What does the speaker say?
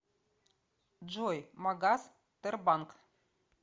джой магас тербанк